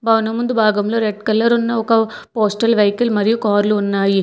భవనం ముందు భాగంలో రెడ్ కలర్ ఉన్న ఒక పోస్టల్ వెహికల్ మరియు కార్లు ఉన్నాయి.